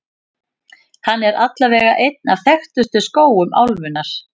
Hann er allavega einn af þekktustu skógum álfunnar.